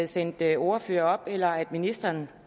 sendte ordførere op eller at ministeren